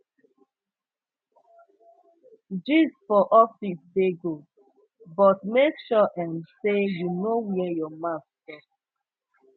gist for office dey go but make sure um sey you know where your mouth stop